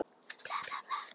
Ekki bara kalt á kroppnum.